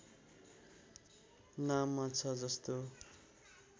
नाममा छ जस्तो